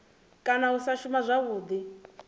kana u sa shuma zwavhudi